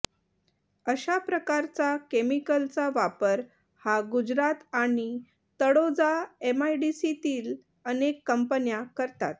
अशा प्रकारचा केमिकलचा वापर हा गुजरात आणि तळोजा एमआय़डीसीतील अनेक कंपन्या करतात